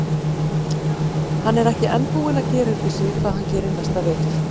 Hann er ekki enn búinn að gera upp við sig hvað hann gerir næsta vetur.